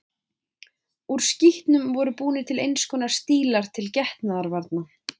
Úr skítnum voru búnir til eins konar stílar til getnaðarvarna.